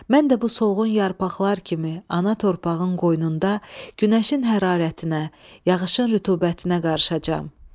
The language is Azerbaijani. Mən də bu solğun yarpaqlar kimi ana torpağın qoynunda günəşin hərarətinə, yağışın rütubətinə qarışacam.